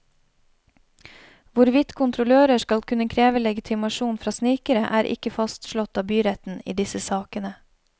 Hvorvidt kontrollører skal kunne kreve legitimasjon fra snikere er ikke fastslått av byretten i disse sakene.